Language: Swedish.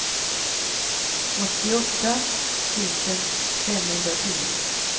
åttioåtta tusen femhundratio